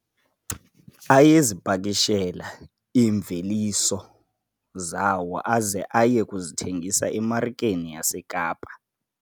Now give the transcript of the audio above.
Ayezipakishela iimveliso zawo aze aye kuzithengisa emarikeni yaseKapa.